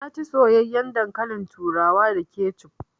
Na ci soyayyaen dankalin turawan da kecuf